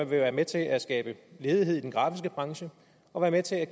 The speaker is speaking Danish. være med til at skabe ledighed i den grafiske branche og være med til at